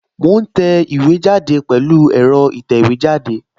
Mo ń tẹ̀wé jáde pẹ̀lú ẹ̀rọ ìtẹ̀wẹ́jáde